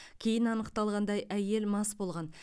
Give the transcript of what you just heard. кейін анықталғандай әйел мас болған